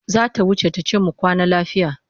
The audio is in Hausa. Za ta wuce ta ce mu kwana lafiya.